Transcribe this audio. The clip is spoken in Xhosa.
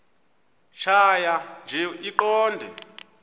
tjhaya nje iqondee